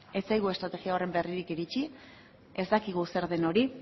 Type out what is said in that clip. ez zaigu estrategia horren berririk iritsi ez dakigu zer den hori